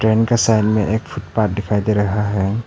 इनका साइड में एक फुटपाथ दिखाई दे रहा है।